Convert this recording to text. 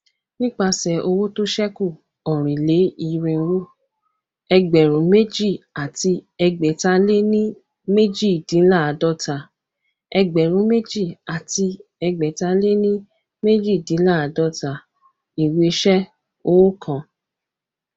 nipasẹ owó to ṣẹku ọrinleirinwo ẹgbẹrúnméjìàtiẹgbẹtaléníméjìdínláàádọta ẹgbẹrúnméjìàtiẹgbẹtaléníméjìdínláàádọta ìwé iṣẹ ookan